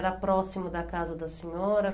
Era próximo da casa da senhora?